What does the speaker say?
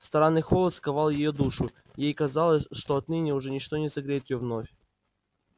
странный холод сковал её душу и ей казалось что отныне уже ничто не согреет её вновь